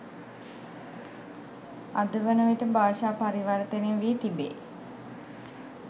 අද වනවිට භාෂා පරිවර්තනය වී තිබේ.